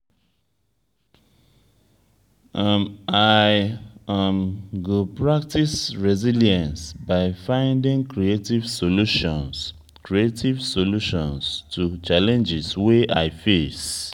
i um go practice resilience by finding creative solutions creative solutions to challenges wey i face.